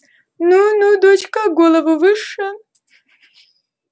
ну ну дочка голову выше